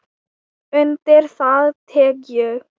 Undir það tek ég.